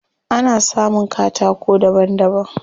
Ana samun katako daban daban.